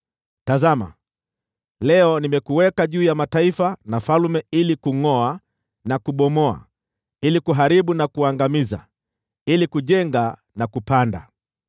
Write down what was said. Tazama, leo nimekuweka juu ya mataifa na falme ili kungʼoa na kubomoa, kuharibu na kuangamiza, kujenga na kupanda.”